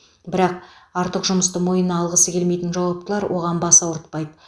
бірақ артық жұмысты мойнына алғысы келмейтін жауаптылар оған бас ауыртпайды